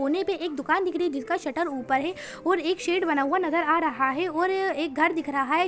कोने पे दुकान दिख रही है जिसका शटर ऊपर है और एक शेड नजर आ रहा है और एक घर दिख रहा है।